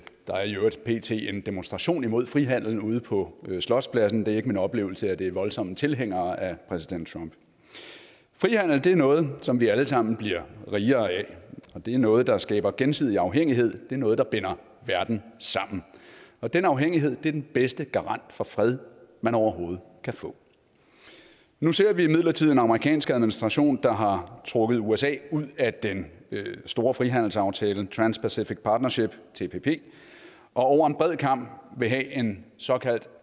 er i øvrigt pt en demonstration imod frihandel ude på slotspladsen det er ikke min oplevelse at det er voldsomme tilhængere af præsident trump frihandel er noget som vi alle sammen bliver rigere af det er noget der skaber gensidig afhængighed det er noget der binder verden sammen og den afhængighed er den bedste garant for fred man overhovedet kan få nu ser vi imidlertid en amerikansk administration der har trukket usa ud af den store frihandelsaftale trans pacific partnership tpp og over en bred kam vil have en såkaldt